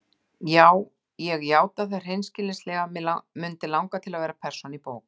Já ég játa það hreinskilnislega: mig mundi langa til að vera persóna í bók.